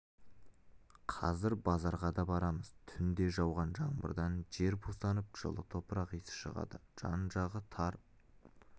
қазір базарға да барамыз түнде жауған жаңбырдан жер бусанып жылы топырақ иісі шығады жан-жағы тар